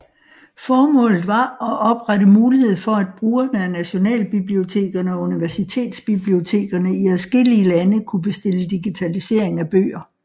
Formålet var at oprette mulighed for at brugerne af nationalbibliotekerne og universitetsbibliotekerne i adskillige lande kunne bestille digitalisering af bøger